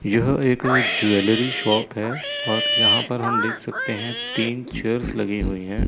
यह एक jewellery shop है और यहां पर हम देख सकते हैं तीन चेयर्स लगी हुई हैं।